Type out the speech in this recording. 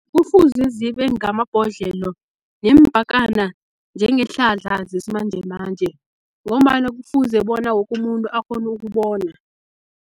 Kufuze zibe ngamabhodlelo neempakana njengeehlahla zesimanjemanje, ngombana kufuze bona woke umuntu akghone ukubona.